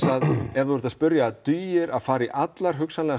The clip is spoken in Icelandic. ef þú ert að spyrja dugir að fara í allar hugsanlega